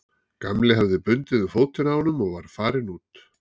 Gamli hafði bundið um fótinn á honum og var farinn út.